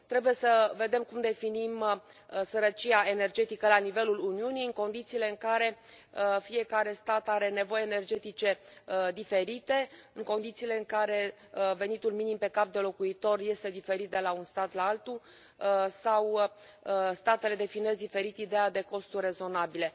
Trebuie să vedem cum definim sărăcia energetică la nivelul Uniunii în condițiile în care fiecare stat are nevoi energetice diferite, în condițiile în care venitul minim pe cap de locuitor este diferit de la un stat la altul sau statele definesc diferit ideea de costuri rezonabile.